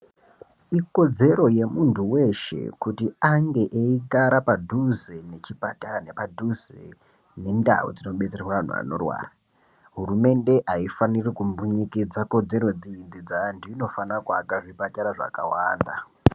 Ikodzero yemuntu weshe kuti ange eigara padhuze nechipatara nepadhuze nendau dzinodetsera anhu anorwara hurumende aifaniri kumbunyikidza kodzero dzeantu inofana kuaka zvipatara zvakawanda.